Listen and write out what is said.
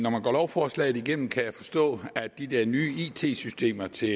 lovforslaget igennem kan jeg forstå at de der nye it systemer til